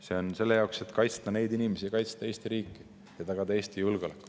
See on selleks, et kaitsta neid inimesi, kaitsta Eesti riiki ja tagada Eesti julgeolek.